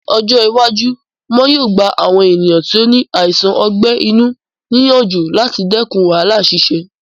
Ní ọjọ́ iwájú, wọn yóò gba àwọn ènìyàn tí ó ní àìsàn ọgbẹ́ inú ní ìyànjú láti dẹkùn wàhálà ṣíṣe